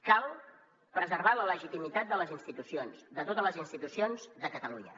cal preservar la legitimitat de les institucions de totes les institucions de catalunya